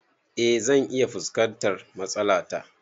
Eh zan iya fuskantar matsala ta